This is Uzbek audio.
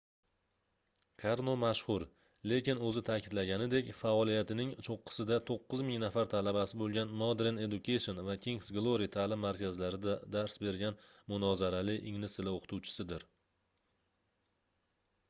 karno mashhur lekin oʻzi taʼkidlaganidek faoliyatining choʻqqisida 9000 nafar talabasi boʻlgan modern education va kingʻs glory taʼlim markazlarida dars bergan munozarali ingliz tili oʻqituvchisidir